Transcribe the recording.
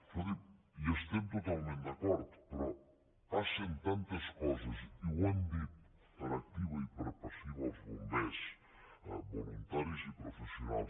escolti’m hi estem totalment d’acord però passen tantes coses i ho han dit per activa i per passiva els bombers voluntaris i professionals